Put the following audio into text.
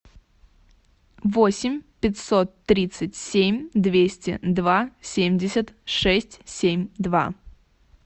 восемь пятьсот тридцать семь двести два семьдесят шесть семь два